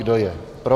Kdo je pro?